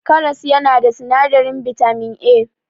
Karas yana da sinadarin bitamin A.